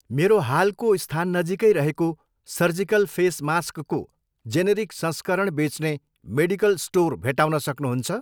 मेरो हालको स्थान नजिकै रहेको सर्जिकल फेस मास्कको जेनेरिक संस्करण बेच्ने मेडिकल स्टोर भेट्टाउन सक्नुहुन्छ?